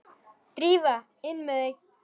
Drífa, inn með þig!